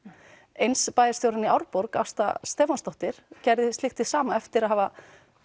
eins bæjarstjórinn í Árborg Ásta Stefánsdóttir gerði slíkt hið sama eftir að hafa